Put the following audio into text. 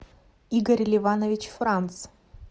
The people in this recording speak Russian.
игорь ливанович франц